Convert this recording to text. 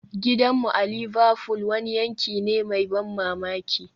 Gidanmu a Liverfool wani yanki ne mai ban mamaki